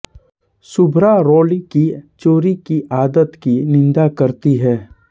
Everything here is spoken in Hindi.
शुभ्रा रोली की चोरी की आदत की निंदा करती है